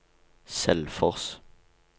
Selfors